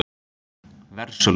Versölum